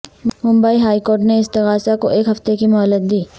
Mumbai high court نے استغاثہ کو ایک ہفتہ کی مہلت دی